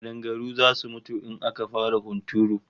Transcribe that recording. Kadangaru zasu mutu in aka fara hunturu